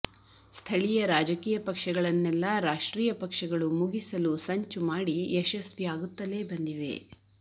ಸ್ಥಳೀಯ ರಾಜಕೀಯ ಪಕ್ಷಗಳನ್ನೆಲ್ಲ ರಾಷ್ಟ್ರೀಯ ಪಕ್ಷಗಳು ಮುಗಿಸಲು ಸಂಚು ಮಾಡಿ ಯಶಸ್ವಿ ಆಗುತ್ತಲೇ ಬಂದಿವೆ